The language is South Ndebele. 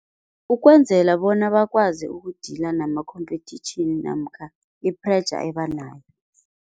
Ukwenzela bona bakwazi uku-dealer nama-competition namkha i-pressure ebanayo.